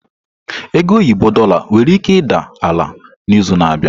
Ego oyibo Dorlar nwere ike ịda ala n'izu na-abịa.